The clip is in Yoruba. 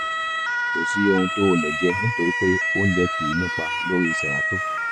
kò sí ohun tó ò le jẹ nítorí pé oúnjẹ kìí nípa lórí xeralto